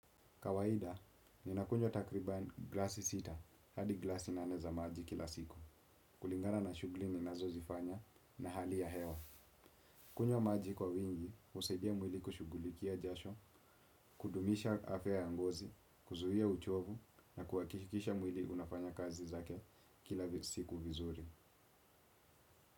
Kawaida, ninakunywa takriban glasi sita, hadi glasi nane za maji kila siku. Kulingana na shughuli ninazozifanya na hali ya hewa. Kunywa maji kwa wingi, husaidia mwili kushugulikia jasho, kudumisha afya ya ngozi, kuzuia uchovu, na kuhakikisha mwili unafanya kazi zake kila siku vizuri.